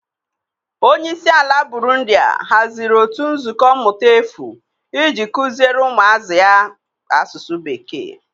Onye isi ala Burundiya haziri otu nzukọ mmụta efu iji kuziere ụmụazụ ya asụsụ Bekee.